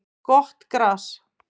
Gott gras